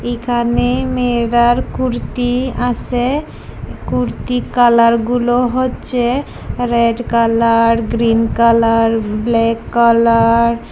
এখানে মেয়েদার কুর্তি আছে কুর্তি কালারগুলো হচ্ছে red colour green colour black colour.